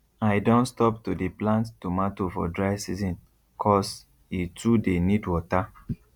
i don stop to dey plant tomatoe for dry season cos e too dey need water